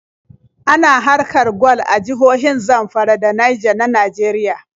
Ana haƙar gwal a jihohin Zamfara da Naija na Nageriya.